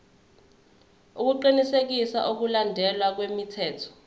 ukuqinisekisa ukulandelwa kwemithetho